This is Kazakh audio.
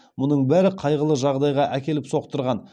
мұның бәрі қайғылы жағдайға әкеліп соқтырған